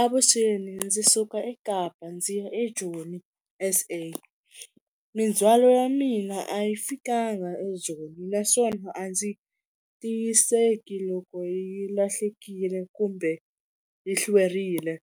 Avuxeni ndzi suka eKapa ndzi ya eJoni S_A, mindzhwalo wa mina a yi fikanga eJoni naswona a ndzi tiyiseki loko yi lahlekile kumbe yi hlwerile,